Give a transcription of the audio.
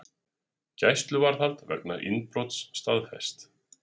Gæsluvarðhald vegna innbrots staðfest